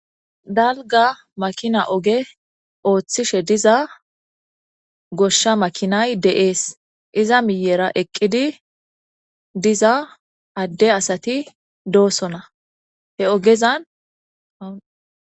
Dalga makina oge ooththishe diza goshsha makinay de7ees. Iza miyyera eqqidi diza adde asati doosona he ogezan ha.